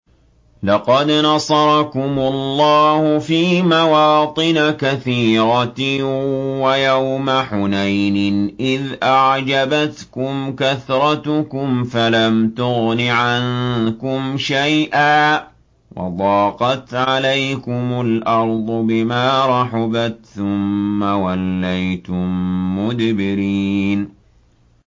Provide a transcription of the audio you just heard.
لَقَدْ نَصَرَكُمُ اللَّهُ فِي مَوَاطِنَ كَثِيرَةٍ ۙ وَيَوْمَ حُنَيْنٍ ۙ إِذْ أَعْجَبَتْكُمْ كَثْرَتُكُمْ فَلَمْ تُغْنِ عَنكُمْ شَيْئًا وَضَاقَتْ عَلَيْكُمُ الْأَرْضُ بِمَا رَحُبَتْ ثُمَّ وَلَّيْتُم مُّدْبِرِينَ